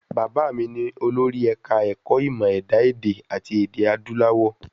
Bàbá mi ni olórí ẹ̀ka ẹ̀kọ́ ìmọ ẹ̀dá èdè àti èdè adúláwọ̀.